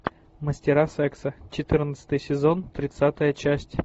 мастера секса четырнадцатый сезон тридцатая часть